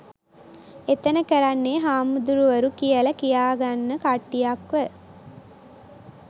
එතන කරන්නෙ හාමුදුරුවරු කියල කියාගන්න කට්ටියක්ව